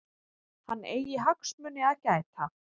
Hann eigi hagsmuni að gæta.